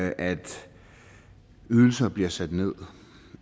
at ydelser bliver sat ned